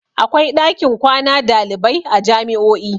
Akwai ɗakin kwana dalibai a jami'o'i